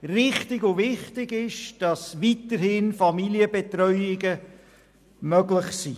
Richtig und wichtig ist, dass weiterhin Familienbetreuungen möglich sind.